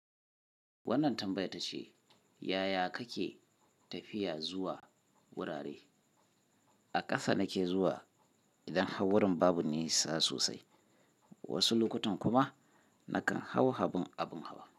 Wannan tambayar tace yaya kake tafiya zuwa gurare. A ƙasa nake zuwa idan har wurin babu nisa sosai, wasu lokutan kuma nakan hau abun hawa.